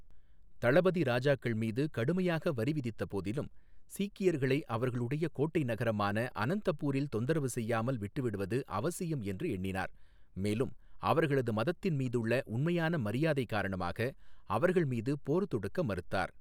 தளபதி ராஜாக்கள் மீது கடுமையாக வரிவிதித்த போதிலும், சீக்கியர்களை அவர்களுடைய கோட்டை நகரமான அனந்தபூரில் தொந்தரவு செய்யாமல் விட்டுவிடுவது அவசியம் என்று எண்ணினார், மேலும் அவர்களது மதத்தின் மீதுள்ள உண்மையான மரியாதை காரணமாக அவர்கள் மீது போர் தொடுக்க மறுத்தார்.